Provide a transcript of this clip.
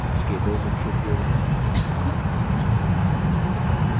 इसके दो मुख्य उपयोग हैं